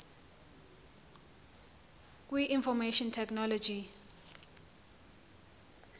kwi information technology